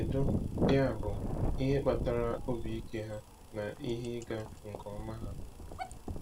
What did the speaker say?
Kedu, yabụ, ihe kpatara obi ike ha na ihe ịga nke ọma ha?